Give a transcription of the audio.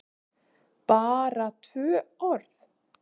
BARA tvö orð?